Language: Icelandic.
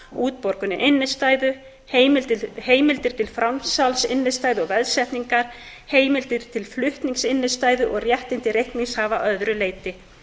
útborgun innstæðu heimildir til framsals innstæðu og veðsetningar heimildir til flutnings innstæðu og réttindi reikningshafa að öðru leyti